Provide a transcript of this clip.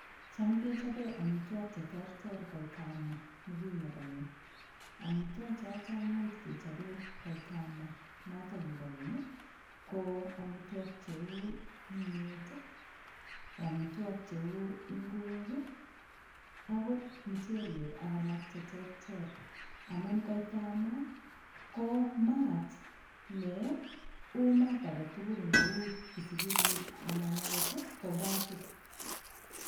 Cham kechobee omitwok cheterter koitaab maa nekiyebo keny omitwochoto much kechobei koita maa noto kibo keny ko omitwok cheu kimyet omitwok cheu ngwek akot michelek ak alak cheterter amun koitab maa ko maat neu maat agetugul neu kisikirit anan akot ko gasit.